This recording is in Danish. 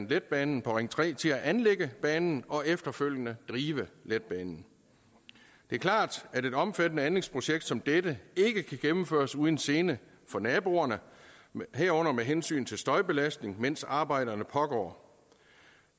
letbanen på ring tre til at anlægge banen og efterfølgende drive letbanen det er klart at et omfattende anlægsprojekt som dette ikke kan gennemføres uden gene for naboerne herunder med hensyn til støjbelastning mens arbejdet pågår